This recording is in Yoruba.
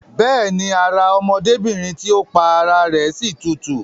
Bẹ́ẹ̀ni, ara ọmọdébìrin tí ó pa ara rẹ̀ si tutù